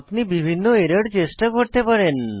আপনি বিভিন্ন এরর চেষ্টা করতে পারেন